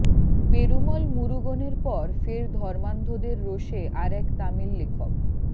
পেরুমল মুরুগনের পর ফের ধর্মান্ধদের রোষে আর এক তামিল লেখক